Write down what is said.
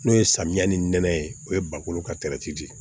N'o ye samiya ni nɛnɛ ye o ye bako ka di